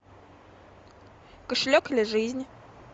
кошелек или жизнь